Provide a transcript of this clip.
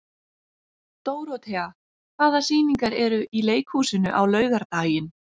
Dórothea, hvaða sýningar eru í leikhúsinu á laugardaginn?